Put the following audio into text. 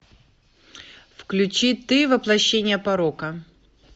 включи ты воплощение порока